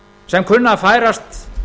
sem kunna að færast